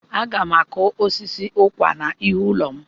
Aga m akụ osisi ụkwà n'ihu ụlọ m.